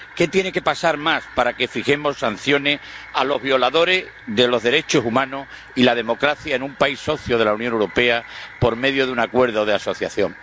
¿Qué más tiene que pasar para que fijemos sanciones a los violadores de los derechos humanos y la democracia en un país socio de la Unión Europea, por medio de un acuerdo de asociación?